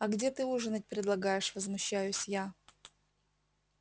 а где ты ужинать предлагаешь возмущаюсь я